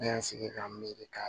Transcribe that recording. Ne y'an sigi k'an miiri ka